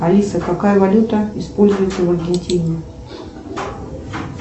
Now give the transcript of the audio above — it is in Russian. алиса какая валюта используется в аргентине